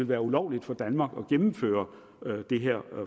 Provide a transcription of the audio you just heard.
være ulovligt for danmark at gennemføre det her